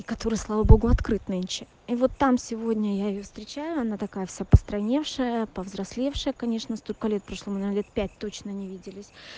который слава богу открыт нынче и вот там сегодня я её встречаю она такая вся постройневшая повзрослевшая конечно столько лет прошло мы наверное лет пять точно не виделись